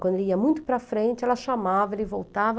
Quando ele ia muito para a frente, ela chamava, ele voltava.